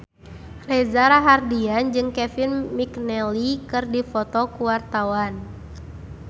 Reza Rahardian jeung Kevin McNally keur dipoto ku wartawan